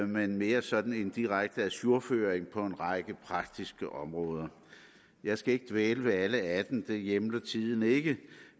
men mere sådan en direkte ajourføring på en række praktiske områder jeg skal ikke dvæle ved alle atten områder det hjemler tiden ikke